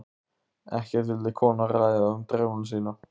Ekkert vildi konan ræða um drauma sína.